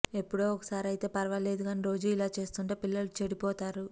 ఎప్పుడో ఒకసారి అయితే ఫర్వాలేదుకానీ రోజూ ఇలా చేస్తుంటే పిల్లలు చెడిపోతారు